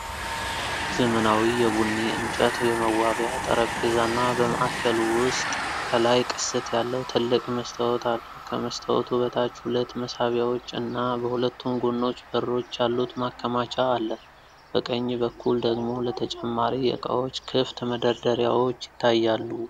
ዘመናዊ የቡኒ እንጨት የመዋቢያ ጠረጴዛና፣ በማዕከሉ ውስጥ ከላይ ቅስት ያለው ትልቅ መስታወት አለው። ከመስታወቱ በታች ሁለት መሳቢያዎች እና በሁለቱም ጎኖች በሮች ያሉት ማከማቻ አለ። በቀኝ በኩል ደግሞ ለተጨማሪ ዕቃዎች ክፍት መደርደሪያዎች ይታያሉ።